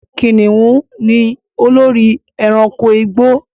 Kìnnìún ni olórí ẹranko igbó